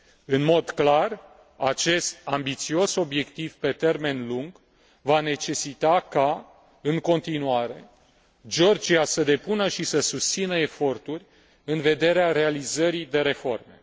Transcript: În mod clar, acest ambițios obiectiv pe termen lung va necesita ca, în continuare, Georgia să depună și să susțină eforturi în vederea realizării de reforme.